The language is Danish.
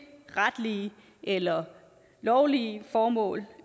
retlige eller lovlige formål